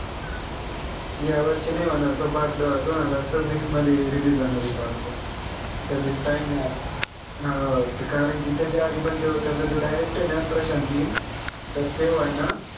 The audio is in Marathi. या वर्षी नाई होणार तो part दोन हजार सव्वीस मध्ये release होणार आहे part त्याचे हो अं कारन की त्याच्यामध्ये पन तो त्याचा जो director आहे ना प्रशांत नील तर तो आय ना